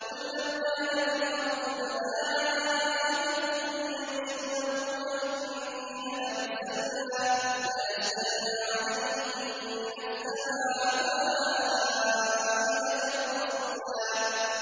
قُل لَّوْ كَانَ فِي الْأَرْضِ مَلَائِكَةٌ يَمْشُونَ مُطْمَئِنِّينَ لَنَزَّلْنَا عَلَيْهِم مِّنَ السَّمَاءِ مَلَكًا رَّسُولًا